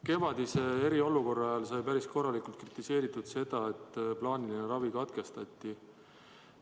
Kevadise eriolukorra ajal sai päris korralikult kritiseeritud seda, et plaaniline ravi katkestati.